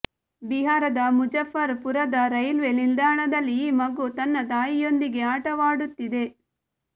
ಬಿಹಾರದ ಮುಜಾಫರ್ ಪುರದ ರೈಲ್ವೆ ನಿಲ್ದಾಣದಲ್ಲಿ ಈ ಮಗು ತನ್ನ ತಾಯಿಯೊಂದಿಗೆ ಆಟವಾಡುತ್ತಿದೆ